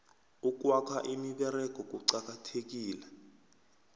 ukwakha imiberego kucakathekile